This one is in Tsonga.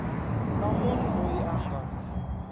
na munhu loyi a nga